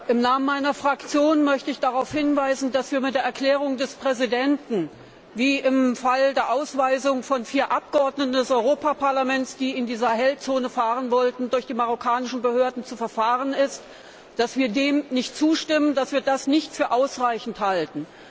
Im Namen meiner Fraktion möchte ich darauf hinweisen, dass wir der Erklärung des Präsidenten, wie im Fall der Ausweisung von vier Abgeordneten des Europäischen Parlaments, die in die Sahelzone fahren wollten, durch die marokkanischen Behörden zu verfahren ist, nicht zustimmen, dass wir das nicht für ausreichend halten.